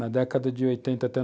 Na década de 1980 até